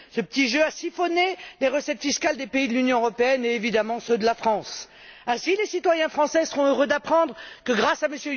Ce petit jeu a siphonné les recettes fiscales des pays de l'Union européenne et, évidemment, ceux de la France. Ainsi, les citoyens français seront heureux d'apprendre que grâce à M.